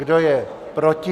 Kdo je proti?